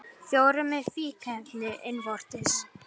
Fjórir með fíkniefni innvortis